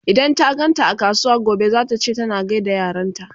idan ta ganta a kasuwa gobe zata ce ta gaida yaranta